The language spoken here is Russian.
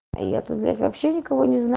я тут блять вообще никого